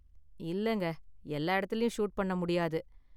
இல்லங்க, எல்லா இடத்துலயும் ஷூட் பண்ண முடியாது.